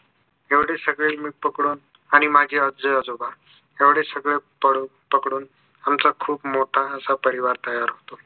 एवढे सगळे मी पकडून आणि माझे आज्जी आजोबा एवढे सगळे पडून पकडून आमचा खूप मोठा असा परिवार तयार होतो